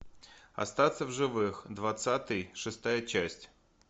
остаться в живых двадцатый шестая часть